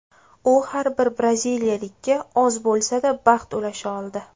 U har bir braziliyalikka oz bo‘lsada baxt ulasha oldi”.